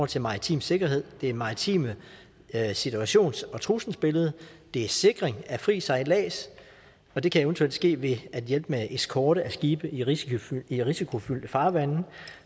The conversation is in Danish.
til maritim sikkerhed det maritime situations og trusselsbillede det er sikring af fri sejlads og det kan eventuelt ske ved at hjælpe med eskorte af skibe i risikofyldte i risikofyldte farvande